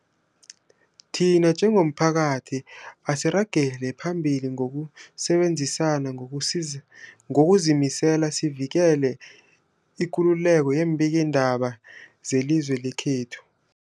Thina njengomphakathi, asiragele phambili ngokusebenzisana ngokuzimisela sivikele ikululeko yeembikiindaba zelizwe lekhethu.